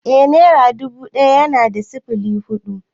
Eh nera dubu ɗaya na da sifili hudu